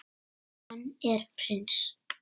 Hann er prins.